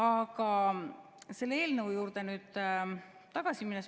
Aga selle eelnõu juurde tagasi.